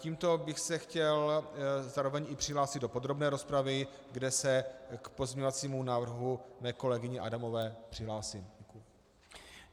Tímto bych se chtěl zároveň i přihlásit do podrobné rozpravy, kde se k pozměňovacímu návrhu své kolegyně Adamové přihlásím.